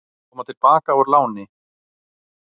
Koma til baka úr láni